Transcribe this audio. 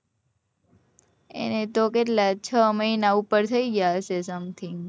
એને તો કેટલા છ મહિના ઉપર થઇ ગયા હશે something